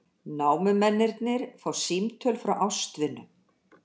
Námumennirnir fá símtöl frá ástvinum